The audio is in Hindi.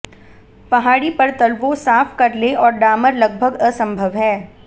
पहाड़ी पर तलवों साफ कर लें और डामर लगभग असंभव है